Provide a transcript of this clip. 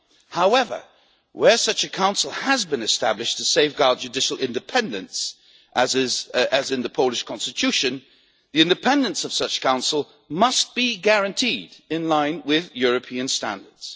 not. However, where such a council has been established to safeguard judicial independence, as in the Polish constitution, the independence of that council must be guaranteed, in line with European standards.